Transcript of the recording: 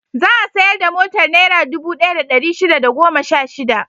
Za a sayar da motar Naira dubu ɗaya da ɗari shida da goma sha shida.